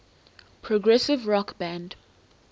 progressive rock band